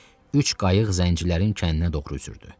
Üç qayıq zəncirlərin kəndinə doğru üzürdü.